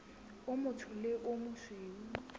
o motsho le o mosweu